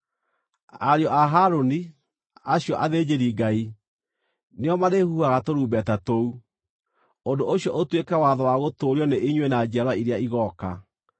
“Ariũ a Harũni, acio athĩnjĩri-Ngai, nĩo marĩhuhaga tũrumbeta tũu. Ũndũ ũcio ũtuĩke watho wa gũtũũrio nĩ inyuĩ na njiarwa iria igooka.